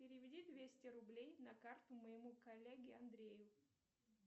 переведи двести рублей на карту моему коллеге андрею